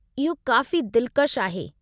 इहो काफ़ी दिलकशु आहे।